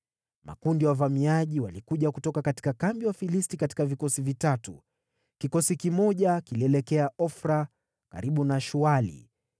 Makundi ya wavamiaji walikuja kutoka kambi ya Wafilisti katika vikosi vitatu. Kikosi kimoja kilielekea Ofra karibu na Shuali,